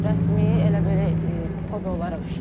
Rəsmi elə belə hobbi olaraq işləyirəm.